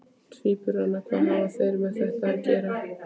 Tvíburana, hvað hafa þeir með þetta að gera?